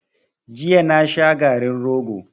Jiya na sha garin rogo.